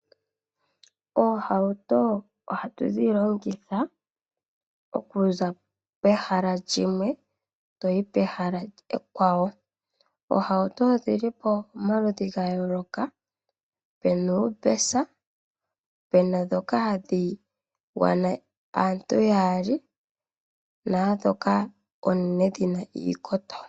Oohauto ohatu dhilongitha oku za pehala limwe toyi pehala ekwawo. Oohauto odhili pamaludhi ga yoloka puna uumbesa, puna dhoka hadhi gwana aantu yaali nadhoka oonene dhina iikoto.